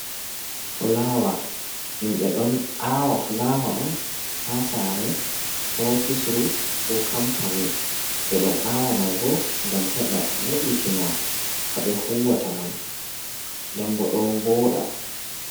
Fulawa himɓe ɗo awa fulawa on ha saare, ofisru ko kampani, ɓe ɗo awa mai bo ngam heɓa vo’itina haɓe huwata man nden bo don vooɗa.